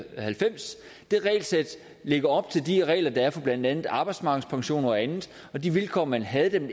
halvfems det regelsæt ligger op ad de regler der er for blandt andet arbejdsmarkedspension og andet og de vilkår man havde da det